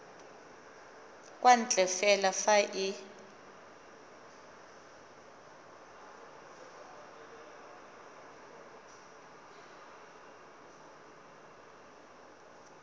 kwa ntle fela fa e